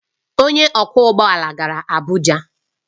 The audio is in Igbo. Onye ọkwọ ụgbọ ala gara Abuja